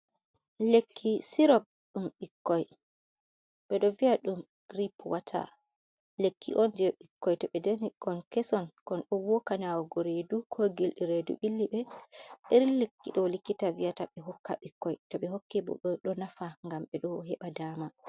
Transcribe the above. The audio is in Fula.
Lekki sirop ɗum ɓikkoi ɓe ɗo vi'a ɗum grip wata, lekki on je ɓikkoi,, to ɓe danyi kon keson kon ɗo woka namugo redu, kogili redu ɓilli ɓe be lekki ɗo likkita vi'ata ɓe hokka ɓikkoi to ɓe hokki bo ɗo nafa gam ɓe ɗo heɓa dama.